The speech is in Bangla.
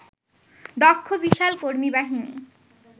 দক্ষ বিশাল কর্মীবাহিনী